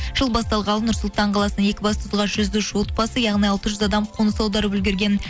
жыл басталғалы нұр сұлтан қаласының екібастұзға жүз үш отбасы яғни алтыз жүз адам қоныс аударып үлгірген